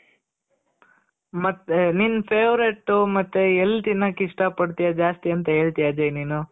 ಮತ್ತೆ ನಿನ್ favourite ಮತ್ತೆ ಎಲ್ಲಿ ತಿನ್ನಕೆ ಇಷ್ಟ ಪಡ್ತಿಯ ಜಾಸ್ತಿ ಅಂತ ಹೇಳ್ತಿಯ ಅಜಯ್ ನೀನು.